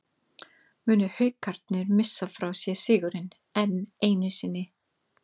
Munu Haukarnir missa frá sér sigurinn, enn einu sinni???